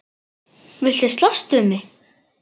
Viltu slást við mig?